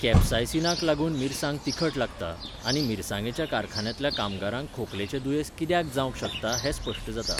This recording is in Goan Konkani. कॅप्सायसीनाक लागून मिरसांग तिखट लागता, आनी मिरसांगेच्या कारखान्यांतल्या कामगारांक खोंकलेचें दुंयेस कित्याक जावंक शकता हें स्पश्ट जाता.